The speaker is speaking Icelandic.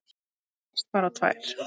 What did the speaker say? Rakst bara á tvær.